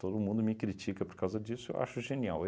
Todo mundo me critica por causa disso, eu acho genial.